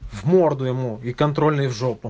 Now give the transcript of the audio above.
в морду ему и контрольные в жопу